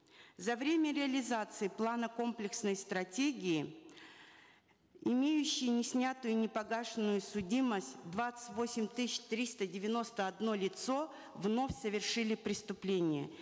за время реализации плана комплексной стратегии имеющие неснятую непогашенную судимость двадцать восемь тысяч триста девяносто одно лицо вновь совершили преступления